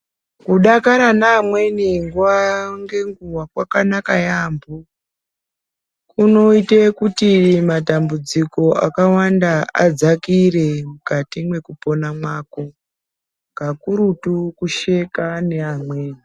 Kudakara ngevamwweni nguwa ngenguwa kwakanaka yaampho. Kunoite kuti matambudziko akawanda adzakire mukati mwekupona mwako, kakurutu kusheka neamweni .